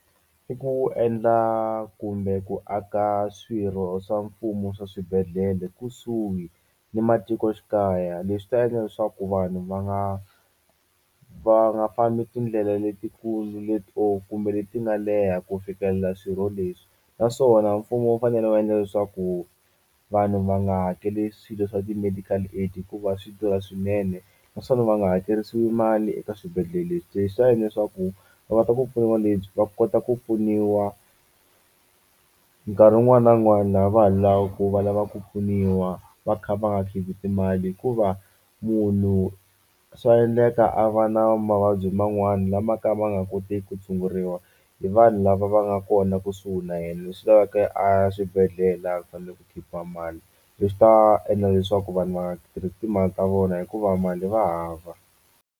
I ku endla kumbe ku aka swirho swa mfumo swa swibedhlele kusuhi ni matikoxikaya leswi ta endla leswaku vanhu va nga va nga fambi tindlela letikulu leti or kumbe leti nga leha ku fikelela swirho leswi naswona mfumo wu fanele wu endla leswaku vanhu va nga hakeli swilo swa ti-medical aid hikuva swi durha swinene naswona va nga hakerisiwi mali eka swibedhlele leswi leswi ta endla leswaku va va kota ku pfuniwa nkarhi wun'wani na wun'wani laha va ha lava ku va lava ku pfuniwa va kha va nga khipi timali hikuva munhu swa endleka a va na mavabyi man'wani lama ka ma nga koteki ku tshunguriwa hi vanhu lava va nga kona kusuhi na yena leswi lavaka a ya swibedhlele a fanele ku khipiwa mali leswi ta endla leswaku vanhu va nga tirhisi timali ta vona hikuva mali va hava.